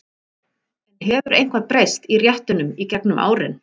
En hefur eitthvað breyst í réttunum í gegnum árin?